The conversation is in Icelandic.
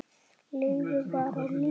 Leifur var á lífi.